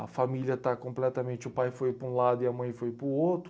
a família está completamente, o pai foi para um lado e a mãe foi para o outro.